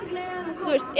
er